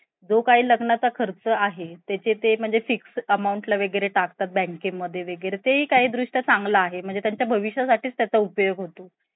shanghai चा skyline बघतोय खूप जास्ती भारी experience ए तो पण shanghai मधे museums एत खूप जास्ती अं malls एत मोठेमोठे त ते नवीन काहीतरी वाटलं लोक आमच्याकडे येऊन